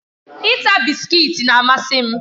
Ita bisikiiti na-amasị m